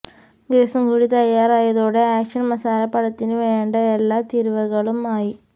ഗ്രസും കൂടി തയ്യാറായതോടെ ആക്ഷന് മസാല പടത്തിന് വേണ്ട എല്ലാ തീരുവകളും ആയി